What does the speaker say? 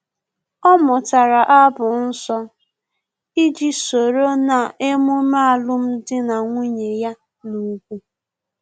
Ọ mụtara abụ nsọ iji soro na-emume alum dị na nwunye ya na-ùgwù